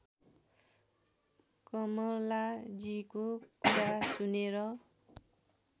कमलाजीको कुरा सुनेर